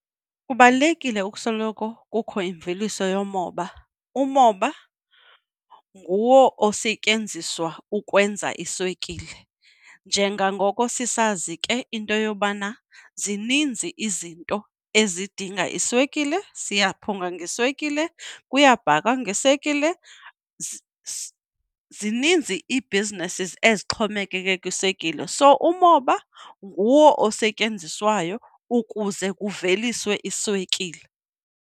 Kubalulekile ukusoloko kukho imveliso yomoba, umoba nguwo osetyenziswa ukwenza iswekile. Njengangoko sisazi ke into yobana zininzi izinto ezidinga iswekile, siyaphunga ngeswekile, kuyabhakwa ngeswekile. Zininzi iibhizinesi ezixhomekeke kwiswekile so umoba nguwo osetyenziswayo ukuze kuveliswe iswekile.